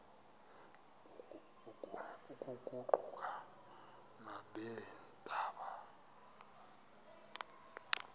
oku kuquka nabeendaba